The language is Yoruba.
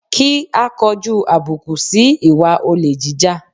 Kí á kọjú àbùkù si ìwà olè jíjà